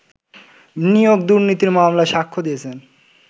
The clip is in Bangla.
নিয়োগ দুর্নীতির মামলায় সাক্ষ্য দিয়েছেন